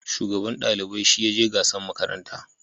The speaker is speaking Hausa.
Shugaban dalibai shi ya je gasan makaranta